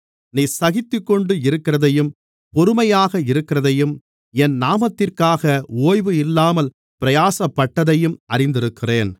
நீ சகித்துக்கொண்டு இருக்கிறதையும் பொறுமையாக இருக்கிறதையும் என் நாமத்திற்காக ஓய்வு இல்லாமல் பிரயாசப்பட்டதையும் அறிந்திருக்கிறேன்